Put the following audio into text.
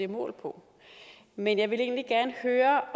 mål på men jeg vil egentlig gerne høre